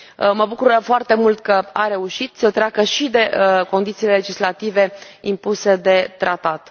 Mă bucură foarte mult că a reușit să treacă și de condițiile legislative impuse de tratat.